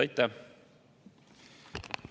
Aitäh!